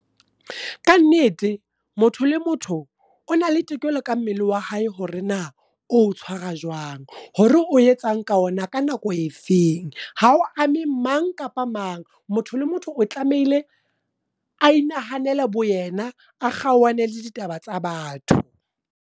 Ka nnete. Motho le motho o na le tokelo ka mmele oa hae, hore na o tshwara jwang. Hore o etsang ka ona ka nako e feng. Ha o ame mang kapa mang, motho le motho o tlamehile a inahanela bo yena, a kgaohane le ditaba tsa batho.